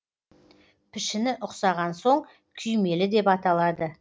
пішіні ұқсаған соң күймелі деп аталады